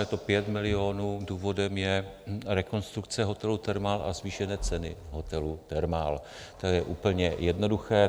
Je to 5 milionů, důvodem je rekonstrukce hotelu Thermal a zvýšené ceny hotelu Thermal, to je úplně jednoduché.